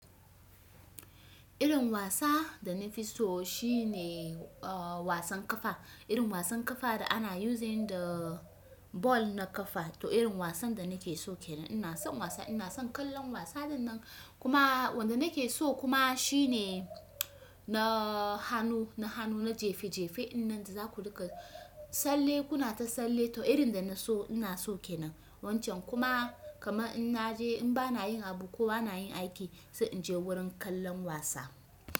Irin wasa da na fi so shine a wasan kafa, irin wasan kafa da ana using da ball na kafa to irin wasan da nake so kenan. Ina son wasa, ina son kallon wasa din nan. Kuma wanda nake so kuma shine na hanu, na hanu na jefejefe, inna zaku ruka salle kuna ta salle toh irin da naso ina so kenan. Wancan kuma kaman in naje in ba na yin abu ko a na yin aiki sai in je wurin kallon wasa.